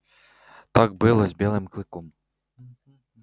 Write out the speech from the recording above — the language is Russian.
так было с белым клыком